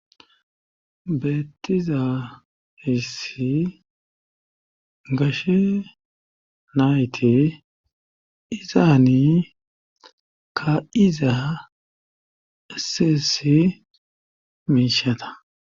Beetizaa hessi gashe nayte izaani kaizaa issi issi miishata.